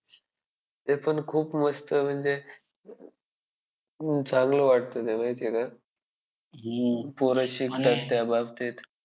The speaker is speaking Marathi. ते पण खूप मस्त म्हणजे चांगलं वाटतं त्यामुळे त्यांना पोरं शिकतात त्याबाबतीत.